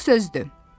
Boş sözdür!